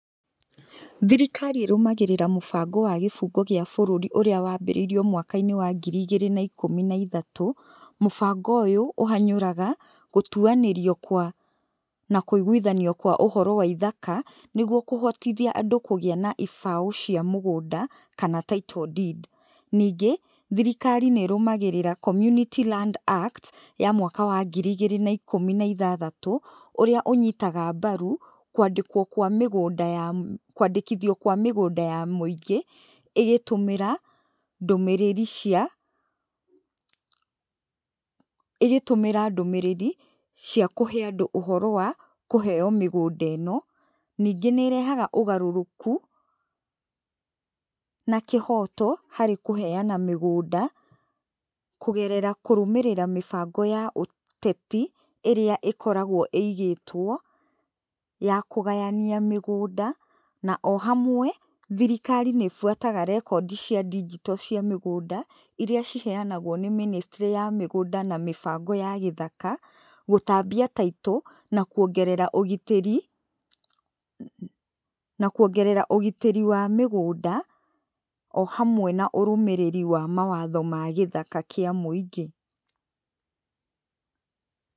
Thirikari ĩrũmagĩrĩra mũbango wa gĩbungo gĩa bũrũri ũrĩa wambĩrĩirio mwaka-inĩ wa ngiri igĩrĩ na ikũmĩ na ithatũ. Mũbango ũyũ ũhanyũraga gũtuanĩrio kwa, na kũiguithanio kwa ũhoro wa ithaka nĩguo kũhotithia andũ kũgĩa na ibaũ cia mũgũnda kana title deed. Ningĩ, thirikari nĩĩrũmagĩrĩraga Community land Act ya mwaka wa ngiri igĩrĩ na ikũmi na ithathatũ, ũrĩa ũnyitaga mbaru kũandĩkwo, kũandĩkithio kwa mĩgũnda ya mũingĩ ĩgĩtũmĩra ndũmĩrĩri cia, ĩgĩtũmĩra ndũmĩrĩri cia kũhe andũ ũhoro wa kũheyo mĩgũnda ĩno. Ningĩ nĩ ĩrehaga ũgarũrũku na kĩhoto harĩ kũheyana mĩgũnda, kũgerera kũrũmĩrĩra mĩbango ya ũteti ĩrĩa ĩkoragwo ĩigĩtwo ya kũgayania mĩgũnda, na o hamwe thirikari nĩĩbuataga rekondi cia digital cia mĩgũnda iria ciheanagwo nĩ Ministry ya mĩgũnda na mĩbango ya gĩthaka gũtambia title na kũongerera ũgitĩri, na kũongerera ũgitĩri wa mĩgũnda o hamwe na ũrũmĩrĩri wa mawatho ma gĩthaka kĩa mũingĩ.